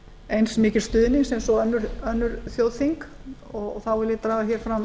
eins mikils stuðnings eins og önnur þjóðþing og þá vil ég draga sérstaklega fram